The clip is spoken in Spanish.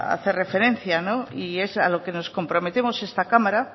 hacer referencia y es a lo que nos comprometemos esta cámara